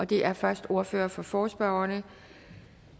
det er først ordføreren for forespørgerne